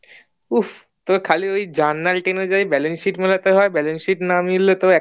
উফফ তোর ওই খালি journal sheet অনুযায়ী balance sheet মিলাতে হয় balance sheet না মিললে তো